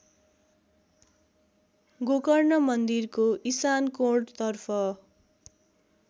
गोकर्ण मन्दिरको इशानकोणतर्फ